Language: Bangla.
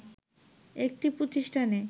একটি প্রতিষ্ঠানে